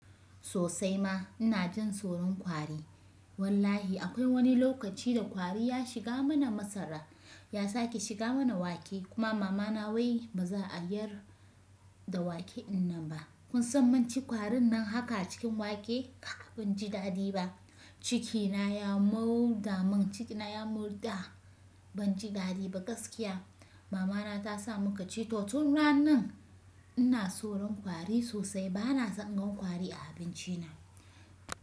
Sosai ma ina jin tsoron kwari. Wallahi akwai wani lokaci da ƙwari ya shiga mana masara, ya sake shiga mana wake. Kuma mamana wai ba za a yar da wake ina ba. Kun san munci ƙwarin nan haka a cikin wake kaa banji daɗi ba. Cikina ya murɗa mun ciki na ya murɗa. Banji dadi ba gaskiya. Mamana ta sa muka ci totun ranan. Ina tsoron kwari sosai. Ba na son in gan ƙwari a abinci na.